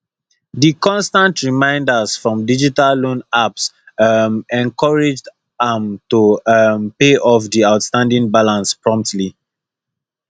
di constant reminders from digital loan apps um encouraged am to um pay off di outstanding balance promptly